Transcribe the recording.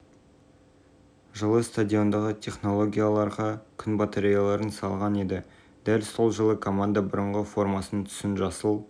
естеріңізге сала кетсек винс жылы форест грин роверс акцияларын сатып алып жылы клуб үшін күн панелдерін